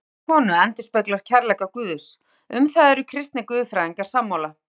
Ást manns og konu endurspeglar kærleika Guðs, um það eru kristnir guðfræðingar sammála.